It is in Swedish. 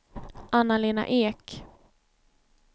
Anna-Lena Ek